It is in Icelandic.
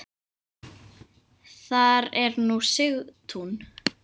Þar er nú Sigtún.